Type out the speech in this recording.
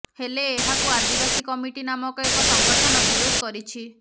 ହେଲେ ଏହାକୁ ଆଦିବାସୀ କମିଟି ନାମକ ଏକ ସଂଗଠନ ବିରୋଧ କରିଛି